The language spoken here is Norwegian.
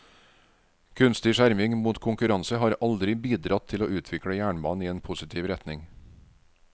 Kunstig skjerming mot konkurranse har aldri bidratt til å utvikle jernbanen i en positiv retning.